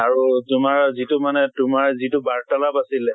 আৰু মানে তোমাৰ যিটো মানে তোমাৰ যিটো বাৰ্তালাপ আছিলে